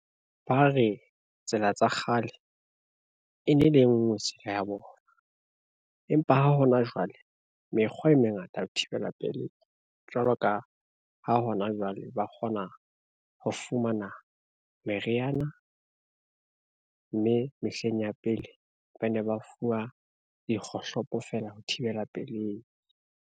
Ba re tsela tsa kgale, e ne e le ngwe tsela ya bona, empa ha hona jwale mekgwa e mengata ho thibela pelei jwalo ka, ha hona jwale ba kgona ho fumana meriana, mme mehleng ya pele ba ne ba fuwa dikgohlopo fela ho thibela pelei.